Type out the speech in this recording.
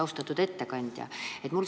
Austatud ettekandja!